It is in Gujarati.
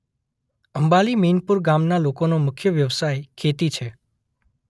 આંબલી મેનપુર ગામના લોકોનો મુખ્ય વ્યવસાય ખેતી છે.